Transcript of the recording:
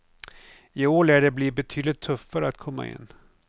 I år lär det bli betydligt tuffare att komma in.